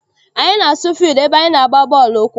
Anyị na-asu fildu ebe anyị na-agba bọọlụ ụkwụ.